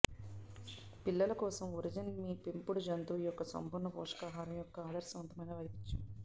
పిల్లుల కోసం ఒరిజెన్ మీ పెంపుడు జంతువు యొక్క సంపూర్ణ పోషకాహారం యొక్క ఆదర్శవంతమైన వైవిధ్యం